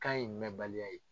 Kan in mɛnbaliya ye.